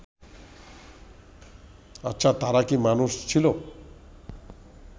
আচ্ছা তারা কি মানুষ ছিল